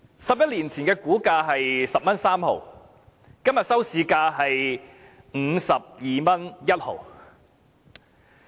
十一年前的股價為 10.3 元，今天的收市價是 52.1 元。